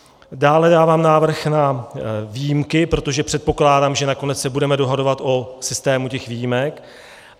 Dále dávám návrh na výjimky, protože předpokládám, že nakonec se budeme dohadovat o systému těch výjimek.